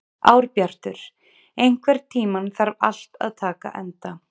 Árbjartur, einhvern tímann þarf allt að taka enda.